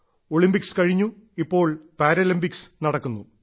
Olympics കഴിഞ്ഞു ഇപ്പോൾ Paralympics നടക്കുന്നു